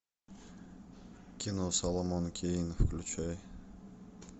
кино соломон кейн включай